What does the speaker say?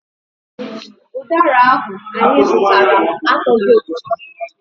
Ụdara ahụ anyị zụtara atọghị ụtọ.